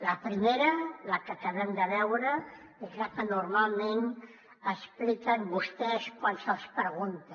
la primera la que acabem de veure és la que normalment expliquen vostès quan se’ls pregunta